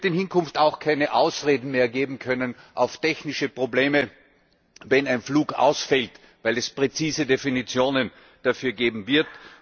Es wird in Hinkunft auch keine Ausreden mehr geben können auf technische Probleme, wenn ein Flug ausfällt, weil es präzise Definitionen dafür geben wird.